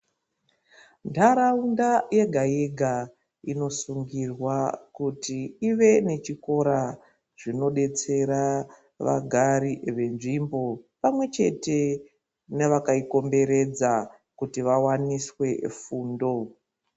Ntaraunda yega-yega, inosungirwa kuti ive nechikora, zvinodetsera vagari venzvimbo, pamwe chete vevakaikomberedza, kuti vawaniswe fundo.